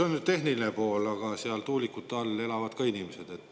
See on tehniline pool, aga seal tuulikute all elavad ka inimesed.